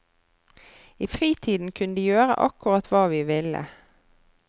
I fritiden kunne de gjøre akkurat hva vi ville.